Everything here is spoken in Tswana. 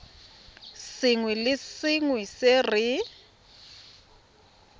sengwe le sengwe se re